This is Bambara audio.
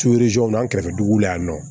an kɛrɛfɛ dugu la yan nɔ